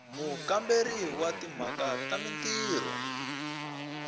mukamberi wa timhaka ta mintirho